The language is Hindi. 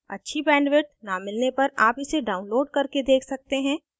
अच्छी bandwidth न मिलने पर आप इसे download करके देख सकते हैं